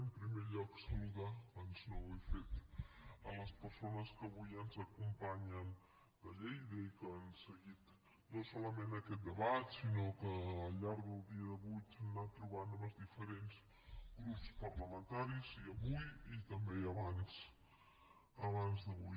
en primer lloc saludar abans no ho he fet les persones que avui ens acompanyen de lleida i que han seguit no solament aquest debat sinó que al llarg del dia d’avui s’han anat trobant amb els diferents grups parlamentaris i avui i també abans d’avui